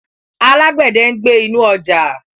Alágbẹ̀dẹ̀ ń gbẹ́ inú ọjà.